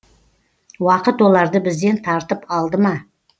уақыт оларды бізден тартып алды ма